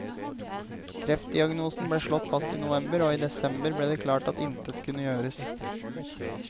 Kreftdiagnosen ble slått fast i november, og i desember ble det klart at intet kunne gjøres.